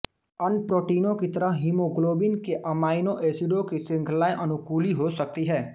अन्य प्रोटीनों की तरह हीमोग्लोबिन के अमाइनो एसिडों की श्रृंखलाएं अनुकूली हो सकती हैं